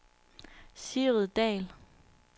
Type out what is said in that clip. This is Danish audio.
Sigrid Dahl